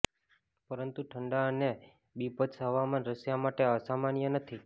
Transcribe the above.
પરંતુ ઠંડા અને બીભત્સ હવામાન રશિયા માટે અસામાન્ય નથી